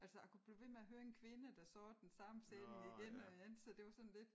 Altså a kunne blive ved med at høre en kvinde der sagde den samme sætning igen og igen så det var sådan lidt